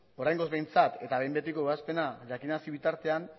oraingoz behintzat eta behin betiko ebazpena jakinarazi bitartean